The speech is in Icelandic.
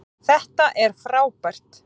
Þetta er frábært